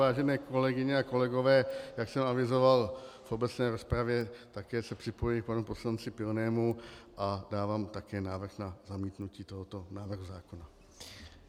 Vážené kolegyně a kolegové, jak jsem avizoval v obecné rozpravě, také se připojuji k panu poslanci Pilnému a dávám také návrh na zamítnutí tohoto návrhu zákona.